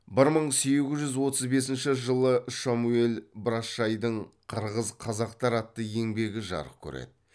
бір мың сегіз жүз отыз бесінші жылы шамуел брашшайдың қырғыз қазақтар атты еңбегі жарық көреді